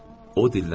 O dilləndi.